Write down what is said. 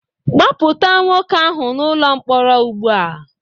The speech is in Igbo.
Gbapụta nwoke ahụ n'ụlọ mkpọrọ ugbu a